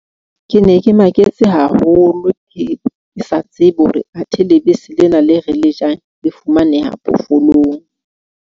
Ke ne ke maketse haholo, ke sa tsebe hore athe lebese lena le re le jang, le fumaneha phoofolong.